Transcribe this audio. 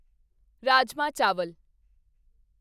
ਰਾਜਮਾਹ ਚਾਵਲ